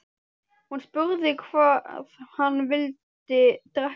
Hún spurði hvað hann vildi drekka.